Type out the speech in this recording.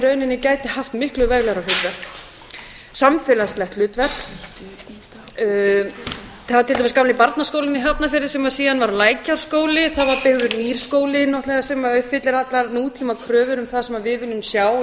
rauninni gæti haft miklu veglegra hlutverk samfélagslegt hlutverk það er til dæmis gamli barnaskólinn í hafnarfirði sem síðan varð lækjarskóli það var byggður nýr skóli náttúrlega sem uppfyllir allar nútímakröfur um það sem við viljum sjá